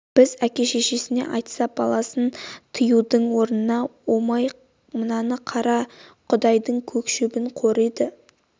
әке-шешесіне айтса баласын тыюдың орнына омай мынаны қара құдайдың көк шөбін қориды